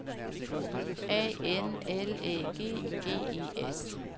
A N L Æ G G E S